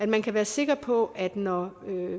man skal være sikker på at når